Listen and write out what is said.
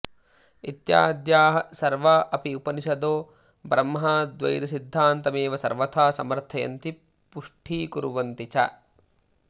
इत्याद्याः सर्वा अपि उपनिषदो ब्रह्माऽद्वैतसिद्धान्तमेव सर्वथा समर्थयन्ति पुष्टीकुर्वन्ति च